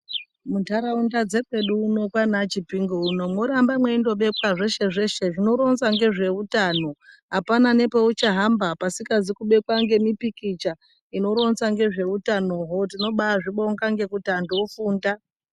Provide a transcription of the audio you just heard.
Muntaraunda dzekwedu uno kwanachipinge uno mworamba meindobekwa zveshe-zveshe zvinoronza ngezvehutano. Hapana nepeuchahamba pasikazi kubekwa ngemipikicha inoronza ngezveutanoho tinobazvibonga ngekuti antu afunda.